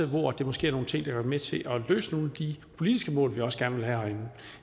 hvor det måske er nogle ting der kan være med til at løse nogle af de politiske mål vi også gerne vil have herinde